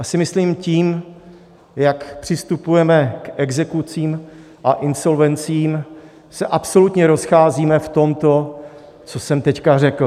Já si myslím, tím, jak přistupujeme k exekucím a insolvencím, se absolutně rozcházíme v tomto, co jsem teď řekl.